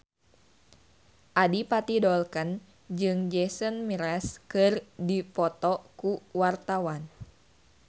Adipati Dolken jeung Jason Mraz keur dipoto ku wartawan